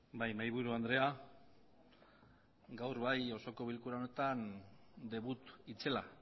bai mahaiburu andrea gaur bai osoko bilkura honetan debut itzela